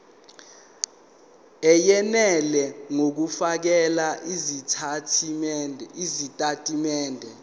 eyenele ngokufakela izitatimende